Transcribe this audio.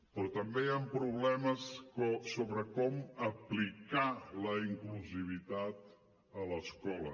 però també hi han problemes sobre com aplicar la inclusivitat a l’escola